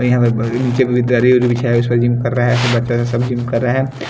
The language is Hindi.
और यहां ब अ नीचे पे दरी वरी बिछाया है उस पर जिम कर रहा है बच्चा वच्चा सब जिम के रहा है।